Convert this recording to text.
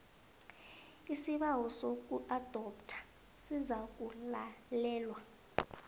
isibawo sokuadoptha sizakulalelwa